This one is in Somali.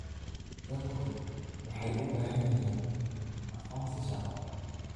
Dadku waxay u baahan yihiin aqoonsi shaqo.